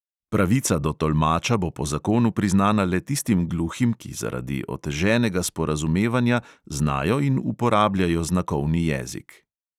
Pravica do tolmača bo po zakonu priznana le tistim gluhim, ki zaradi oteženega sporazumevanja znajo in uporabljajo znakovni jezik.